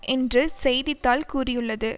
என்று செய்தி தாள் கூறியுள்ளது